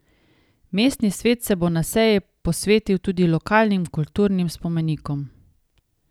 Mestni svet se bo na seji posvetil tudi lokalnim kulturnim spomenikom.